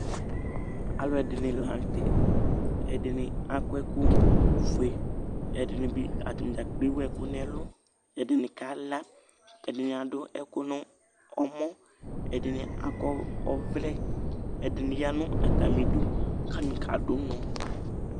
Alʋɛdɩnɩ la nʋ tɛ, ɛdɩnɩ akɔ ɛkʋ fue kʋ atanɩ dzakplo ewu ɛkʋ nɛlʋ, ɛdɩnɩ ka la, ɛdɩnɩ adʋ ɛkʋ nɔmɔ, ɛdɩnɩ akɔ ɔvlɛ, ɛdɩnɩ ya nʋ atamɩdu ,katanɩ kadʋ ʋnɔ